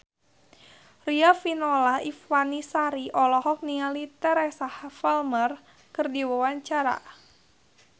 Riafinola Ifani Sari olohok ningali Teresa Palmer keur diwawancara